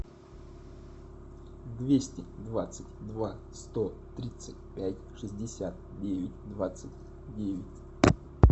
двести двадцать два сто тридцать пять шестьдесят девять двадцать девять